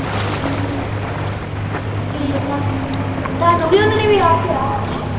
ਠੀਕ ਆ ਤੁਹਾਨੂੰ ਵੀ ਉਹਨਾਂ ਨੇ ਵਿਆਹ ਕਿਹਾ ਆ